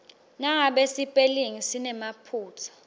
nangabe sipelingi sinemaphutsa